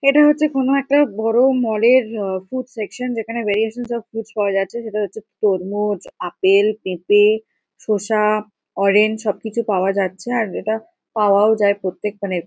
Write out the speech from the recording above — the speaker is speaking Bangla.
এটা হচ্ছে কোনো একটা বড়ো মল -এর আ ফুড সেকশন যেখানে ভেরিয়েশনস অফ ফুডস পাওয়া যাচ্ছে। সেটা হচ্ছে তরমুজ আপেল পেঁপে শসা অরেঞ্জ সবকিছু পাওয়া যাচ্ছে। আর এটা পাওয়াও যায় প্রত্যেক মানে--